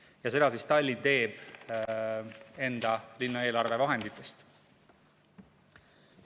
Ja seda teeb Tallinn enda linnaeelarve vahenditest.